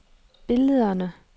billederne